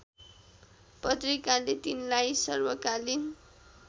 पत्रिकाले तिनलाई सर्वकालीन